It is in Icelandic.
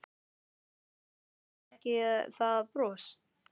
Eða er þetta kannski ekki það bros?